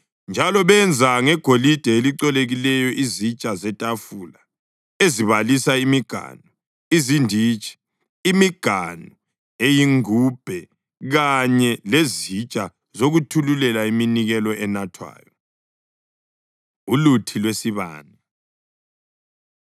Njalo benza ngegolide elicolekileyo izitsha zetafula ezibalisa imiganu, izinditshi, imiganu eyingubhe kanye lezitsha zokuthululela iminikelo enathwayo. Uluthi Lwesibane